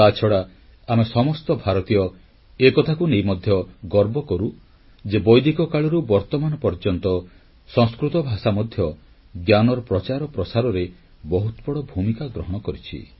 ତାଛଡ଼ା ଆମେ ସମସ୍ତ ଭାରତୀୟ ଏକଥାକୁ ନେଇ ମଧ୍ୟ ଗର୍ବ କରୁ ଯେ ବୈଦିକ କାଳରୁ ବର୍ତ୍ତମାନ ପର୍ଯ୍ୟନ୍ତ ସଂସ୍କୃତ ଭାଷା ମଧ୍ୟ ଜ୍ଞାନର ପ୍ରଚାର ପ୍ରସାରରେ ବହୁତ ବଡ଼ ଭୂମିକା ଗ୍ରହଣ କରିଛି